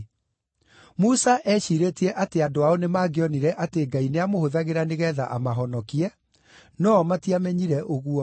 Musa eeciirĩtie atĩ andũ ao nĩmangĩonire atĩ Ngai nĩamũhũthagĩra nĩgeetha amahonokie, no-o matiamenyire ũguo.